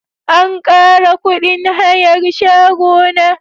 An kara kudin hayar shago na.